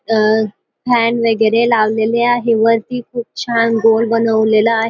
अ fan वगेरे लावलेले आहे वरती खूप छान दोर बनवलेला--